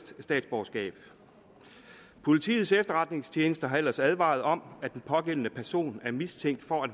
statsborgerskab politiets efterretningstjeneste har ellers advaret om at den pågældende person er mistænkt for at